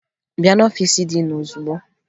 Bịa n'ọfiisi diin ozugbo!